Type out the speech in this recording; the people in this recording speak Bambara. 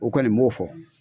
O kɔni n b'o fɔ.